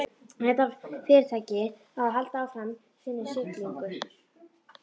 Ef þetta fyrirtæki á að halda áfram sinni siglingu.